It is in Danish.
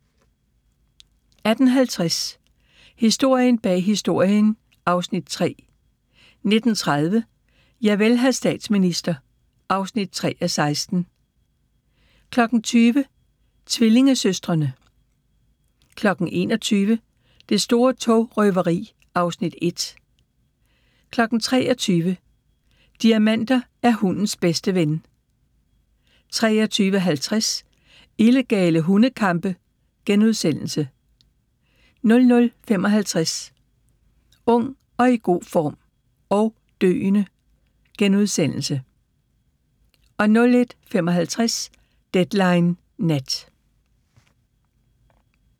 18:50: Historien bag Historien (Afs. 3) 19:30: Javel, hr. statsminister (3:16) 20:00: Tvillingesøstrene 21:00: Det store togrøveri (Afs. 1) 23:00: Diamanter er hundens bedste ven 23:50: Illegale hundekampe * 00:55: Ung, i god form – og døende! * 01:55: Deadline Nat